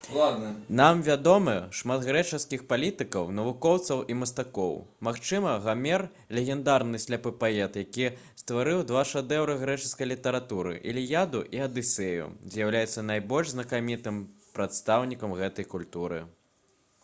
нам вядомы шмат грэчаскіх палітыкаў навукоўцаў і мастакоў. магчыма гамер легендарны сляпы паэт які стварыў два шэдэўры грэчаскай літаратуры — «іліяду» і «адысею» — з'яўляецца найбольш знакамітым прадстаўніком гэтай культуры